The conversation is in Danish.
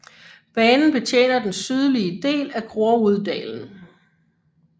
Banen betjener den sydlige del af Groruddalen